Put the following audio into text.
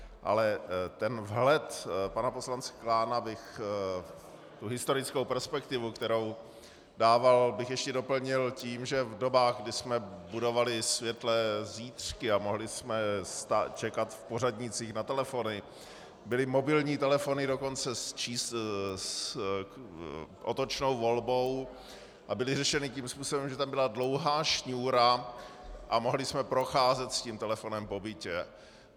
Ale ten vhled pana poslance Klána, tu historickou perspektivu, kterou dával, bych ještě doplnil tím, že v dobách, kdy jsme budovali světlé zítřky a mohli jsme čekat v pořadnících na telefony, byly mobilní telefony dokonce s otočnou volbou a byly řešeny tím způsobem, že tam byla dlouhá šňůra a mohli jsme procházet s tím telefonem po bytě.